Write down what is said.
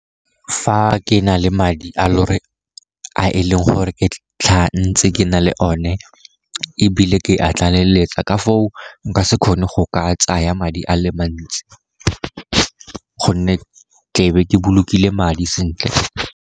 Fa ke na le madi a e leng gore ke tlhaga ntse ke na le one, ebile ke a tlaleletsa, ka foo nka se kgone go ka tsaa madi a le mantsi, gonne tlebe ke bolokile madi sentle.